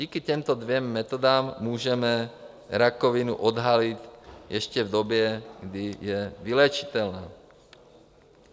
Díky těmto dvěma metodám můžeme rakovinu odhalit ještě v době, kdy je vyléčitelná.